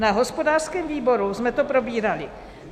Na hospodářském výboru jsme to probírali.